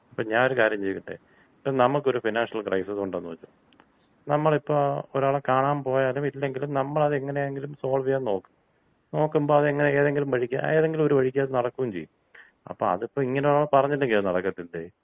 അപ്പൊ ഞാനൊരു കാര്യം ചോദിക്കട്ടെ. ഇപ്പൊ നമുക്കൊരു ഫിനാൻഷ്യൽ ക്രൈസസ് ഉണ്ടെന്ന് വച്ചോ. നമ്മളിപ്പോ ഒരാളെ കാണാൻ പോയാലും ഇല്ലെങ്കിലും നമ്മളത് എങ്ങനെയെങ്കിലും സോൾവ് ചെയ്യാൻ നോക്കും. നോക്കുമ്പോ അത് എങ്ങനെ ഏതെങ്കിലും വഴിക്ക് ഏതെങ്കിലും ഒരു വഴിക്കത് നടക്കൂം ചെയ്യും. അപ്പോ അത് ഇങ്ങനെ ഒരാൾ പറഞ്ഞില്ലെങ്കി അത് നടക്കത്തില്ലെ?